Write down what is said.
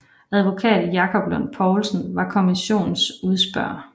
Advokat Jakob Lund Poulsen var kommissionens udspørger